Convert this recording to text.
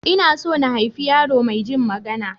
Ina so na haifi yaro maijin magana.